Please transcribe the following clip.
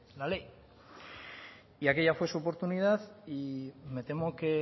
la ley aquella fue su oportunidad y me temo que